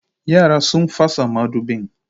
Yara sun fasa madubin